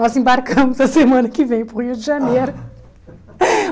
Nós embarcamos a semana que vem para o Rio de Janeiro.